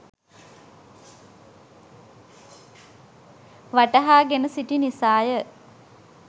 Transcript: වටහා ගෙන සිටි නිසාය.